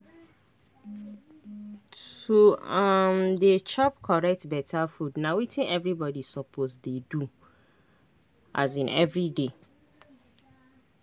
to um dey chop correct beta food na wetin everybody suppose dey do um everyday.